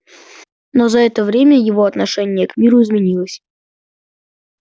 но за это время его отношение к миру изменилось